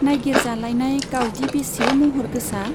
नाइगिरजालायनाय गावदि बेसे महर गोसा !